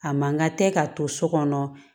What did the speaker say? A man kan ka tɛ ka to so kɔnɔ